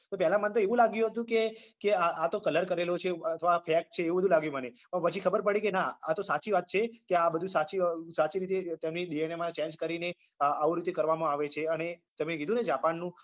તો પેલા મન તો એવું લાગ્યું હતું કે કે આ આ તો colour કરેલો છે એવું અથવા fake છે એવું બધું લાગ્યું મને પણ પછી ખબર પડી કે ના આ તો સાચી વાત છે કે આ બધું સાચી સાચી રીતે તેમની DNA માં change કરીને આવું રીતે કરવામાં આવે છે અને તમે કીધું ને Japan નું